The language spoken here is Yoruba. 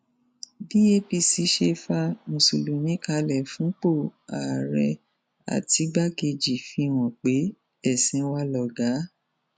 bí apc ṣe fa mùsùlùmí kalẹ fúnpọ ààrẹ àtìgbàkejì fìhàn pé ẹsìn wa lọgá